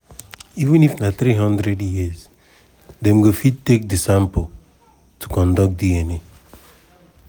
even if na 300 years dem fit take di sample to conduct dna.